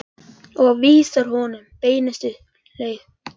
Og vísar honum beinustu leið til heljar.